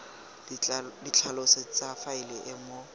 ditlhaloso tsa faele e mo